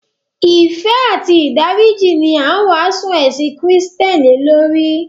Ìfẹ́ àti ìdáríjì ní a ń wásù ẹ̀sìn Kristián lèlórí.